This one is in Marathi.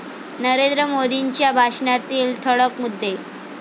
नरेंद्र मोदींच्या भाषणातील ठळक मुद्दे